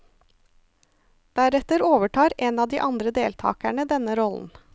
Deretter overtar en av de andre deltakerne denne rollen.